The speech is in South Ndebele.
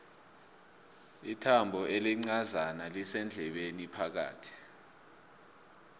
ithambo elincozana lisendlebeni phakathi